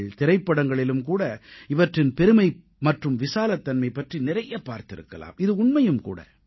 திரைப்படங்களிலும் கூட இவற்றின் பெருமை மற்றும் விசாலத்தன்மை பற்றி நிறைய பார்த்திருக்கலாம் இது உண்மையும் கூட